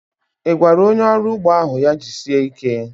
I gwara onye ọrụ ugbo ahu ya jisie ike?